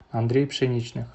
андрей пшеничных